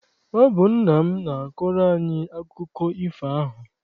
Ọ bụ nna m na-akọrọ anyị akụkọ ifo ahụ.